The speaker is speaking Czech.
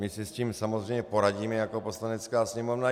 My si s tím samozřejmě poradíme jako Poslanecká sněmovna.